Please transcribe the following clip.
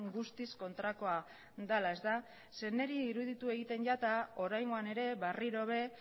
guztiz kontrakoa dela zeren niri iruditu egiten zait oraingoan ere berriro ere